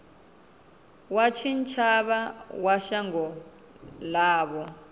wa tshitshavha wa shango ḽavho